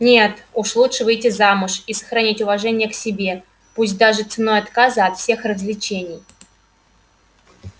нет лучше уж выйти замуж и сохранить уважение к себе пусть даже ценой отказа от всех развлечений